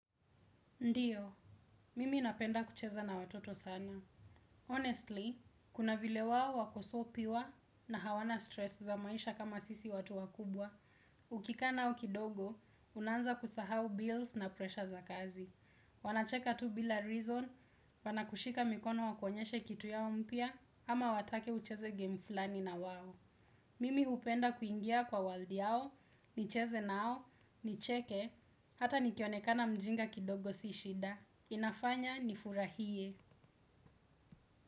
Ndiyo, mimi napenda kucheza na watoto sana. Honestly, kuna vile wao wako so pure na hawana stress za maisha kama sisi watu wakubwa. Ukikaa nao kidogo, unaanza kusahau bills na presha za kazi. Wanacheka tu bila reason, wanakushika mikono wakuonyeshe kitu yao mpya, ama watake ucheze game flani na wao. Mimi hupenda kuingia kwa world yao, nicheze nao, nicheke, hata nikionekana mjinga kidogo si shida. Inafanya nifurahie.